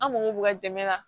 An mako b'u ka dɛmɛ la